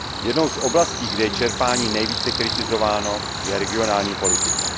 Jednou z oblastí, kde je čerpání nejvíce kritizováno, je regionální politika.